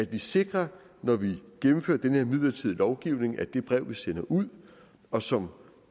vi sikrer når vi gennemfører den her midlertidige lovgivning at det brev vi sender ud og som